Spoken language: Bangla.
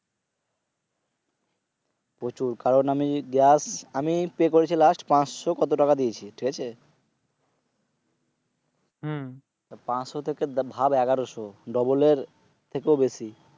প্রচুর কারণ আমি গ্যাস আমি Pay করেছি Last । পাঁচশ কত টাকা দিয়েছি ঠিক আছে? পাঁচশ থেকে ভাব এগারশ Double এর থেকে ও বেশি।